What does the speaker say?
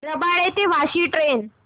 रबाळे ते वाशी ट्रेन